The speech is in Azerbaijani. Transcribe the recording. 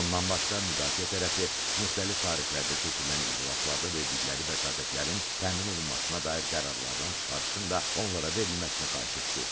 Bundan başqa müdafiə tərəfi müxtəlif tarixlərdə keçirilən iclaslarda verdikləri vəsatətlərin təmin olunmasına dair qərarlardan çıxarılışın onlara verilməsini xahiş etdi.